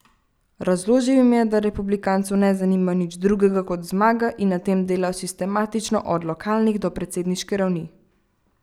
Razložil jim je, da republikancev ne zanima nič drugega kot zmaga in na tem delajo sistematično od lokalnih do predsedniške ravni.